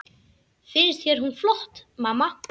Finnst þér hún flott, mamma?